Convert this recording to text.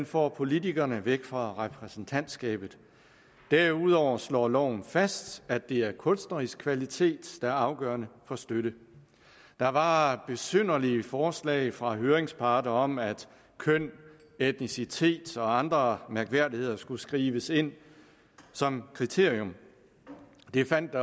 får politikerne væk fra repræsentantskabet derudover slår loven fast at det er kunstnerisk kvalitet der er afgørende for støtte der var besynderlige forslag fra høringsparter om at køn etnicitet og andre mærkværdigheder skulle skrives ind som kriterium det fandt